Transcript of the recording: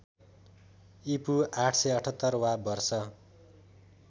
ईपू ८७८ वा वर्ष